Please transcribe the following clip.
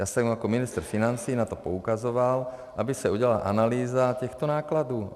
Já jsem jako ministr financí na to poukazoval, aby se udělala analýza těchto nákladů.